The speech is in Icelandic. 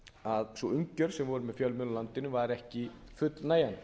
að sú umgjörð sem var um fjölmiðla í landinu var ekki fullnægjandi